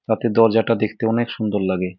রাতে দরজাটা দেখতে অনেক সুন্দর লাগে।